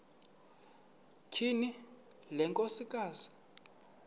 tyhini le nkosikazi